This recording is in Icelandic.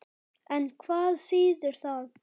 En hvað þýðir það?